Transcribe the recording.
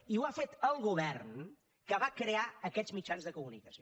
i ho ha fet el govern que va crear aquests mitjans de comunicació